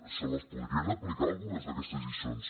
se les podrien aplicar algunes d’aquestes lliçons